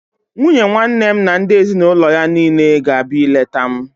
Nwunye nwanne m na ndị ezinaụlọ niile ga-abịa ileta m